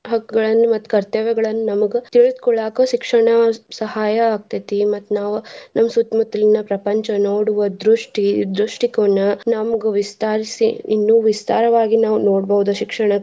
ಹಕ್ಕುಗಳನ್ನ ಮತ್ತ್ ಕರ್ತವ್ಯಗಳನ್ನ ನಮ್ಗ್ ತಿಳಿದ್ಕೊಳ್ಳಾಕ ಶಿಕ್ಷಣ ಸಹಾಯ ಆಗ್ತೇತಿ. ಮತ್ತ್ ನಾವ್ ನಮ್ಮ್ ಸುತ್ತ್ ಮುತ್ಲಿನ ಪ್ರಪಂಚ ನೋಡುವ ದೃಷ್ಟಿ, ದೃಷ್ಟಿಕೋನ ನಮ್ಗ್ ವಿಸ್ತಾರ್ಸಿ ಇನ್ನು ವಿಸ್ತಾರವಾಗಿ ನಾವ್ ನೋಡ್ಬಹುದ ಶಿಕ್ಷಣ.